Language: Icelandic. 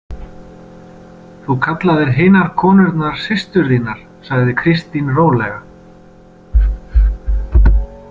Þú kallaðir hinar konurnar systur þínar, sagði Kristín rólega.